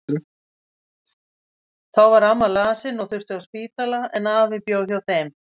Þá var amma lasin og þurfti á spítala, en afi bjó hjá þeim.